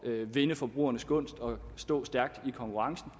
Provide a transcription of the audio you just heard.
at vinde forbrugernes gunst og stå stærkt i konkurrencen